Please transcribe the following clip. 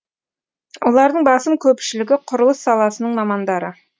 олардың басым көпшілігі құрылыс саласының мамандары